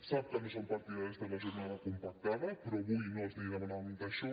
sap que no som partidaris de la jornada compactada però avui no els demanàvem això